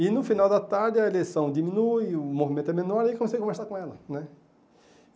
E, no final da tarde, a eleição diminui, o movimento é menor e comecei a conversar com ela né.